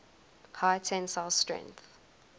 high tensile strength